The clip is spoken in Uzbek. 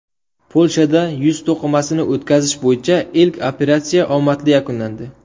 Polshada yuz to‘qimasini o‘tkazish bo‘yicha ilk operatsiya omadli yakunlandi .